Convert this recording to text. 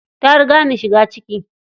Ta riga ni shiga ciki.